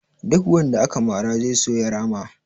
Duk wanda aka mara zai so ya rama